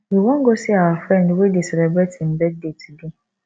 we wan go see our friend wey dey celebrate im birthday today